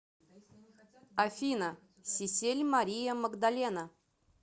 афина сиссель мария магдалена